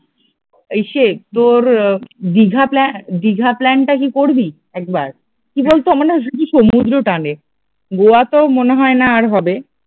ইসে তোর দিঘা প্ল্যা প্ল্যান দীঘা প্ল্যানটা কি করবি একবার কি বলতো আমার না শুধু সমুদ্র টানে গোয়া তো মনে হয় না আর হবে